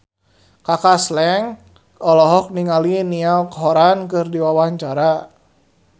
Kaka Slank olohok ningali Niall Horran keur diwawancara